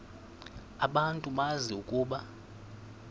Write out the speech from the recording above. abantu bazi ukuba